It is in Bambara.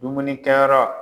Dumunikɛyɔrɔ.